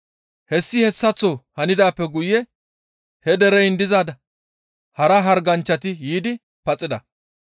Hessi hessaththo handaappe guye he dereyin diza hara harganchchati yiidi paxida.